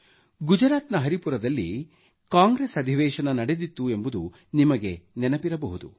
ಗುಜರಾತ್ನ ಹರಿಪುರದಲ್ಲಿ ಕಾಂಗ್ರೆಸ್ ಅಧಿವೇಶನ ನಡೆದಿತ್ತು ಎಂಬುದು ನಿಮಗೆ ನೆನಪಿರಬಹುದು